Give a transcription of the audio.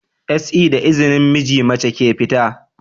SE da izinin miji, mace ke fita